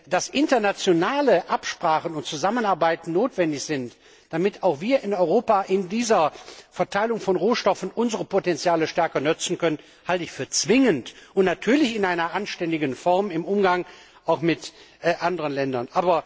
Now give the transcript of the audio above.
Dass internationale Absprachen und Zusammenarbeit notwendig sind, damit auch wir in Europa in dieser Verteilung von Rohstoffen unsere Potenziale stärker nutzen können, halte ich für zwingend, natürlich in einer anständigen Form im Umgang mit anderen Ländern.